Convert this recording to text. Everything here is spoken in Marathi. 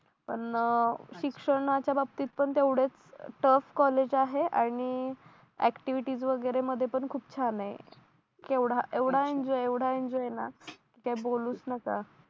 पण शिक्षणाच्या बाबतीत पण तेवढेच टॉप कॉलेज आहे आणि ऍक्टिव्हिटीज वगैरे मध्ये पण खूप छान आहे केवढा एवढा एन्जॉय एवढा एन्जॉय ना काय बोलूच नका